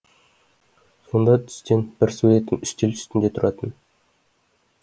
сонда түскен бір суретім үстел үстінде тұратын